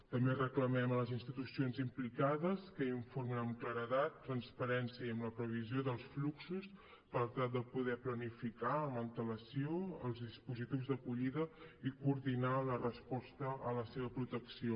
també reclamem a les institucions implicades que informin amb claredat transparència i amb la previsió dels fluxos per tal de poder planificar amb antelació els dispositius d’acollida i coordinar la resposta a la seva protecció